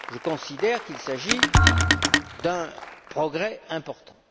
Je considère qu'il s'agit d'un progrès important.